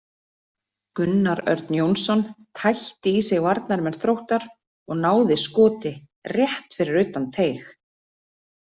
Gunnar Örn Jónsson tætti í sig varnarmenn Þróttar og náði skoti rétt fyrir utan teig.